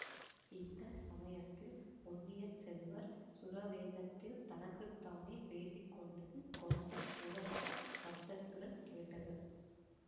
இந்த சமயத்தில் பொன்னியின் செல்வர் சுரவேகத்தில் தனக்கு தானே பேசிக்கொண்டது கொஞ்சம் உரத்த சப்தத்துடன் கேட்டது